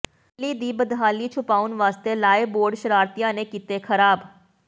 ਦਿੱਲੀ ਦੀ ਬਦਹਾਲੀ ਛੁਪਾਉਣ ਵਾਸਤੇ ਲਾਏ ਬੋਰਡ ਸ਼ਰਾਰਤੀਆਂ ਨੇ ਕੀਤੇ ਖਰਾਬ